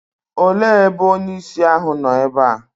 òle ebe onye-ìsì ahu nọ ebe a?